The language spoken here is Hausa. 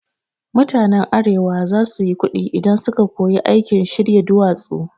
Mutanen arewa za su yi kuɗi idan su ka koyi aikin shirya duwatsu